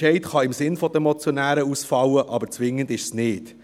Der Entscheid kann im Sinn der Motionäre ausfallen, zwingend ist es aber nicht.